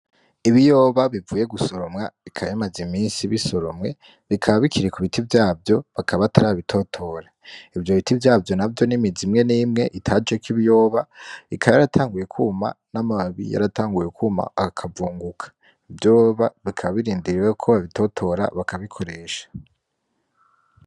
Ibiyoba bivuye gusoromwa, bikaba bimaze iminsi bisoromwe. Bikaba bikiri ku biti vyavyo; bakaba batarabitotora. Ivyo biti vyavyo navyo ni imizi imwe n'imwe itajeko ibiyoba, ikaba yaratanguye kwuma, n'amababi yaratanguye kwuma akavunguka. Ivyo biyoba bikaba birindiriye ko babitotora bakabikoresha.